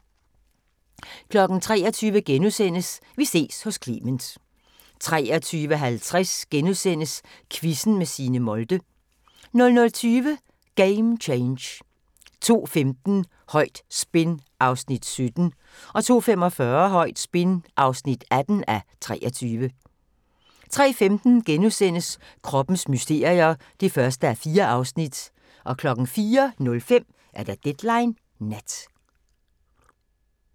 23:00: Vi ses hos Clement * 23:50: Quizzen med Signe Molde * 00:20: Game Change 02:15: Højt spin (17:23) 02:45: Højt spin (18:23) 03:15: Kroppens mysterier (1:4)* 04:05: Deadline Nat